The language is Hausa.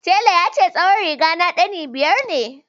Telan ya ce tsawon riga ta ɗani biyar ne